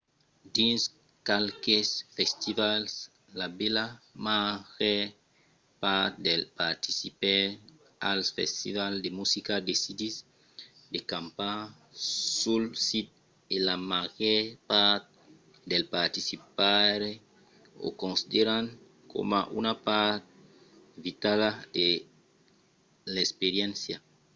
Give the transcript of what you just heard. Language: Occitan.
dins qualques festivals la bèla màger part dels participaires als festivals de musica decidís de campar sul sit e la màger part dels participaires o consideran coma una part vitala de l’experiéncia